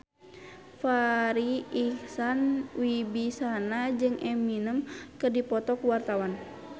Farri Icksan Wibisana jeung Eminem keur dipoto ku wartawan